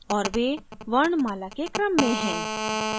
और वे वर्णमाला के क्रम में है